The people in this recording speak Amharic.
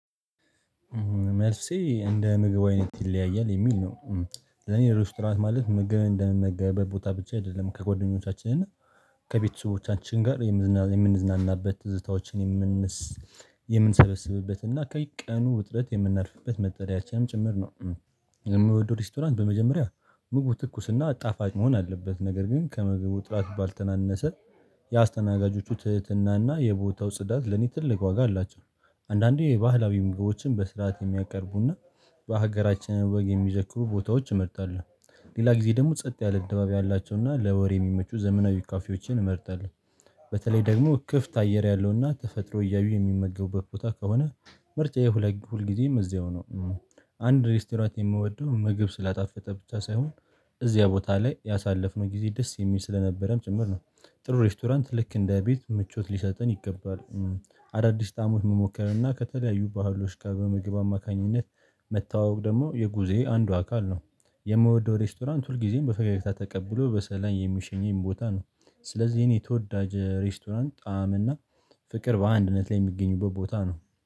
መልሴ እንደ ምግብ አይነት ይለያያል የሚል ነው። ለኔ ሬስቶራንት ማለት ምግብ እንደምመገብበት ቦታ ብቻ አይደለም ከጓደኞቻችን እና ከቤተሰቦቻችን ጋር የምንዝናናበት ትዝታዎችን የምንሰበስብበት እና ከቀኑ ውጥረት የምናርፍበት መጠለያችንም ጭምር ነው። እምወደው ሬስቶራንት በመጀመሪያ ምግቡ ትኩስና ጣፋጭ መሆን አለበት ነገር ግን ከምግቡ ጥራት ባልተናነሰ ትህትናና የቦታው ጽዳት ለኔ ትልቅ ዋጋ አላቸው። አንዳንዴ የባህላዊ ምግቦችን በስርዓት የሚያቀርቡና በሀገራችን ወግ የሚዘክሩ ቦታዎች አመርጣለው። ሌላ ጊዜ ደግሞ ጸጥ ያለ ደባብ ያላቸውና ለወሬ እሚመቹ ዘመናዊ ካፌዎችን እመርጣለሁ። በተለይ ደግሞ ክፍት አየር ያለውና ተፈጥሮ እያዩ የሚመገቡበት ቦታ ከሆነ ምርጫዬ ሁል ጊዜም እዚያው ነው። አንድ ሬስቶራንት የምወደው ምግብ ስላጣፈጠ ብቻ ሳይሆን እዚያ ቦታ ላይ ያሳለፍነው ጊዜ ደስ የሚል ስለነበረም ጭምር ነው። ጥሩ ሬስቶራንት ልክ እንደ ቤት ምቾት ሊሰጥን ይገባል። አዳዲስ ጣሞች መሞከር እና ከተለያዩ ባህሎች ጋር በምግብ አማካኝነት መተዋወቅ ደግሞ የጉዞዬ አንዱ አካል ነው። የምወደው ሬስቶራንት ሁል ጊዜም በፈገግታ ተቀብሎ በሰላም የሚሸኘኝ ቦታ ነው። ስለዚህ ይኔ ተወዳጅ ሬስቶራንት ጣዕም እና ፍቅር በአንድነት ላይ የሚገኙበት ቦታ ነው